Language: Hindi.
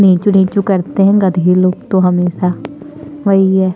ढेंचू ढेंचू करते है गधे लोग हमेसा वही है।